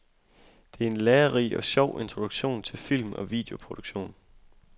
Det er en lærerig og sjov introduktion til film- og videoproduktion.